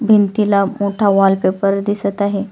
भिंतीला मोठा वॉलपेपर दिसत आहे.